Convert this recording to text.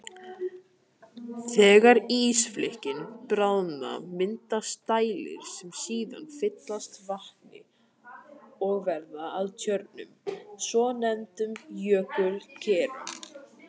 Þegar ísflikkin bráðna myndast dældir sem síðan fyllast vatni og verða að tjörnum, svonefndum jökulkerum.